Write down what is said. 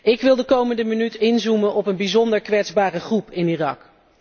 Ik wil de komende minuut inzoomen op een bijzonder kwetsbare groep in Irak.